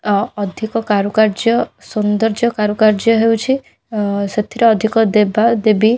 ଅ ଅଧିକ କାରୁକାର୍ଯ୍ୟ ସୁନ୍ଦର୍ଯ୍ୟ କାରୁକାର୍ଯ୍ୟ ହେଉଛି ଅ ସେଥିରେ ଅଧିକ ଦେବା ଦେବୀ --